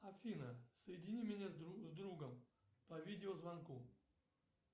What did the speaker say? афина соедини меня с другом по видеозвонку